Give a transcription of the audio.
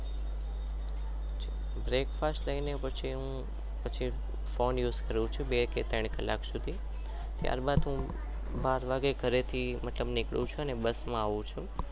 breakfast લઈને પછી ફોને ઉસ કરું ચુ